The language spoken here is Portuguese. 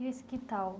E esse quintal?